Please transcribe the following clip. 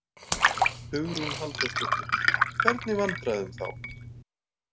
Hugrún Halldórsdóttir: Hvernig vandræðum þá?